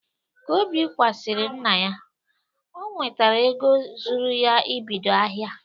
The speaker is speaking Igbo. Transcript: Ka Obi kwasịrị nna ya, o nwetara ego zuru ya ibido ahịa.